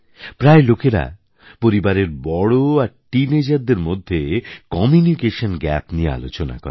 প্রায়ই লোকেরা পরিবারের বড়ো আর Teenagerদের মধ্যে কমিউনিকেশন গ্যাপ নিয়ে আলোচনা করে